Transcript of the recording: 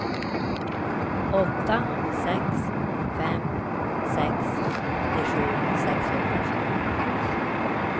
åtta sex fem sex åttiosju sexhundrasju